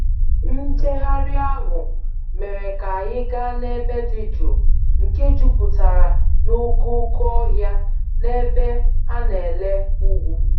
Njegharị ahụ mere ka anyị gaa n'ebe dị jụụ nke jupụtara n'okooko ohịa na ebe a na-ele ugwu.